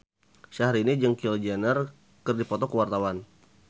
Syahrini jeung Kylie Jenner keur dipoto ku wartawan